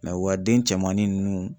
u ka den cɛmanni nunnu